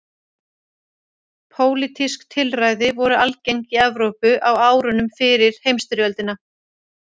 Pólitísk tilræði voru algeng í Evrópu á árunum fyrir heimsstyrjöldina.